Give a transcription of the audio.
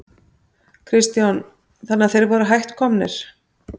Kristján: Þannig að þeir voru hætt komnir?